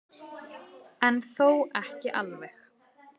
En þó ekki alveg.